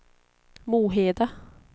Moheda